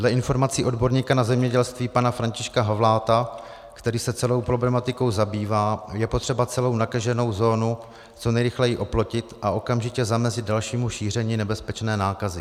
Dle informací odborníka na zemědělství pana Františka Havláta, který se celou problematikou zabývá, je potřeba celou nakaženou zónu co nejrychleji oplotit a okamžitě zamezit dalšímu šíření nebezpečné nákazy.